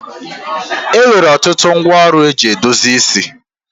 E nwere ọtụtụ ngwa ọrụ e ji edozi isi.